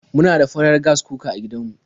Muna da farar Gas cooker a gidan mu.